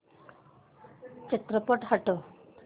चित्रपट हटव